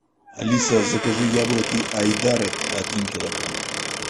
алиса закажи яблоки айдаред один килограмм